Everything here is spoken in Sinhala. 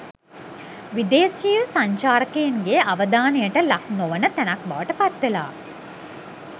විදේශීය සංචාරකයින්ගේ අවධානයට ලක්නොවන තැනක් බවට පත්වෙලා